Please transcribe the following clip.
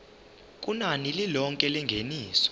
kunani lilonke lengeniso